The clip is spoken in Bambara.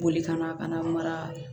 Boli kana ka na mara